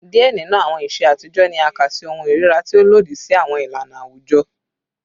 Diẹ ninu awọn iṣe atijọ ni a ka si ohun irira, ti o lodi si awọn ilana awujọ